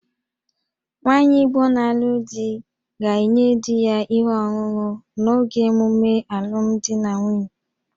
Nwaanyị Igbo na-alụ di ga-enye di ya ihe ọṅụṅụ n'oge emume alụmdi na nwunye